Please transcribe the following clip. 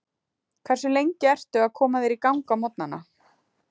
Hversu lengi ertu að koma þér í gang á morgnana?